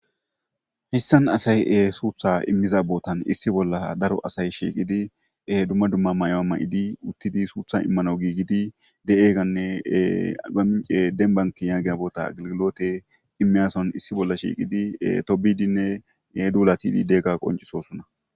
hissan asaye suutha immiza bootan issi bolla daro asay shiiqidi dumma dumma may7oa ma7idi uttidi suutha immano giigidi de7eeganne gamce denbanki yaagiya boota agilgilote immiyason issi bolla shiiqidi tobidinne duulatididegga qoncisosunna